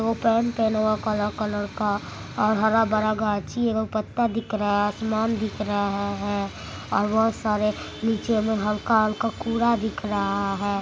काला कलर का वहां हरा-भरा गाछी है वहां पत्ता दिख रहा है आसमान दिख रहा है और बोहत सारे नीचे में हल्का हल्का कूड़ा दिख रहा है।